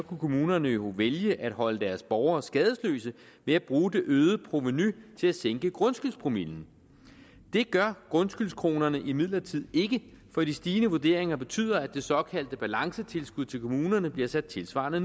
kommunerne jo vælge at holde deres borgere skadesløse ved at bruge det øgede provenu til at sænke grundskyldspromillen det gør grundskyldskronerne imidlertid ikke for de stigende vurderinger betyder at det såkaldte balancetilskud til kommunerne bliver sat tilsvarende